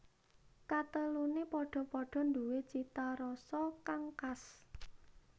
Katelune padha padha nduwe cita rasa kang khas